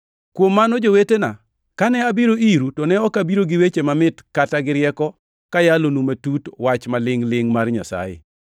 Kuom mano jowetena, kane abiro iru to ne ok abiro gi weche mamit kata gi rieko kayalonu matut wach ma lingʼ-lingʼ mar Nyasaye.